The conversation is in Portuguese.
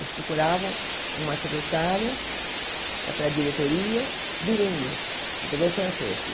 Eles procuravam uma secretária para a diretoria, bilíngue, português francês.